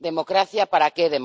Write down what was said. Democracia, ¿para qué?